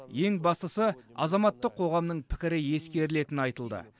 ең бастысы азаматтық қоғамның пікірі ескерілетіні айтылды